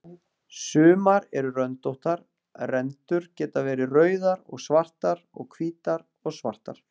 Sumar eru röndóttar, rendurnar geta verið rauðar og svartar eða hvítar og svartar.